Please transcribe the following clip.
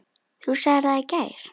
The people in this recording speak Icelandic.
Þú sagðir það í gær.